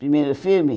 Primeiro filme?